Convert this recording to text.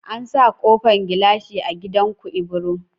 An sa kofan gilashi a gidan ku ibro